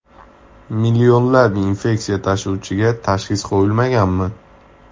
Millionlab infeksiya tashuvchiga tashxis qo‘yilmaganmi?